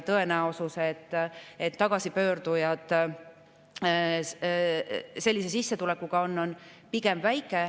Tõenäosus, et tagasipöördujad sellise sissetulekuga on, on pigem väike.